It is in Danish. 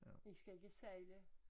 I skal ikke sejle